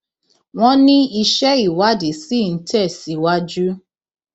wọn ní iṣẹ ìwádìí ṣì ń tẹ síwájú